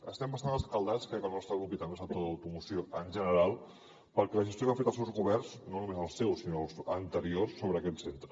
estem bastant escaldats crec que el nostre grup i també el sector de l’automoció en general per la gestió que han fet els seus governs no només el seu sinó els anteriors sobre aquest centre